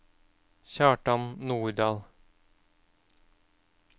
Kjartan Nordal